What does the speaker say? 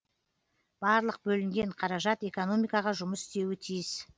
барлық бөлінген қаражат экономикаға жұмыс істеуі тиіс